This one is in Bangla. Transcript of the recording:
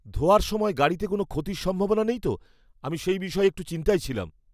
ধোয়ার সময় গাড়িতে কোনও ক্ষতির সম্ভাবনা নেই তো? আমি সেই বিষয়ে একটু চিন্তায় ছিলাম।